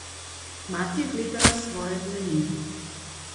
Mati je gledala svoje dlani.